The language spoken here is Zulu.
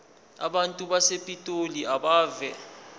abantu basepitoli abeve